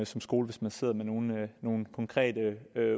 som skole hvis man sidder med nogle nogle konkrete